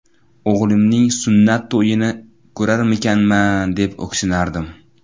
O‘g‘limning sunnat to‘yini ko‘rarmikanman, deb o‘ksinardim.